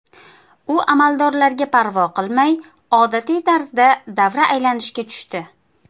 U amaldorlarga parvo qilmay, odatiy tarzda davra aylanishga tushdi.